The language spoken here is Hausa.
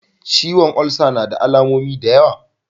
Ciwon olsa nada alamomi da yawa.